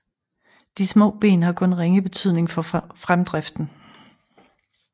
De små ben har kun ringe betydning for fremdriften